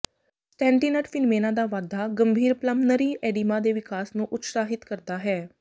ਸਟੈਂਨਟਿਨਟ phenomena ਦਾ ਵਾਧਾ ਗੰਭੀਰ ਪਲਮਨਰੀ ਐਡੀਮਾ ਦੇ ਵਿਕਾਸ ਨੂੰ ਉਤਸ਼ਾਹਿਤ ਕਰਦਾ ਹੈ